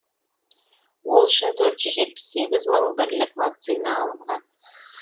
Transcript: ол үшін төрт жүз жетпіс сегіз мың бірлік вакцина алынған